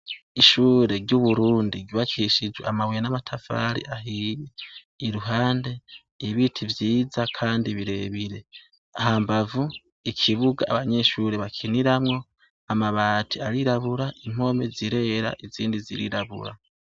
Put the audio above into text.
Ishure ry'Uburundi ryubakishijwe amabuye n'amatafari ahiye, iruhande ibiti vyiza kandi birebire. Hambavu, ikibuga abanyeshure bakiniramwo, amabati arirabura, impome zirera, izindi zirirabura.